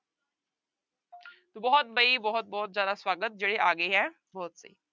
ਬਹੁਤ ਬਈ ਬਹੁਤ ਬਹੁਤ ਜ਼ਿਆਦਾ ਸਵਾਗਤ ਜਿਹੜੇ ਆ ਗਏ ਹੈ ਬਹੁਤ ਸਹੀ।